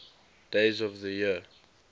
days of the year